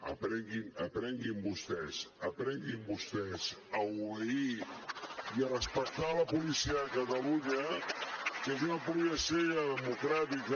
aprenguin vostès aprenguin vostès a obeir i a respectar la policia de catalunya que és una policia democràtica